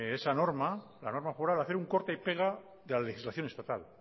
esa norma la norma foral hacer un corta y pega de la legislación estatal